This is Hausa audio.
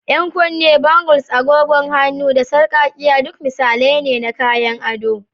Yan kunne, bangles, agogon hannu, da sarƙaƙƙiya duk misalai ne na kayan ado.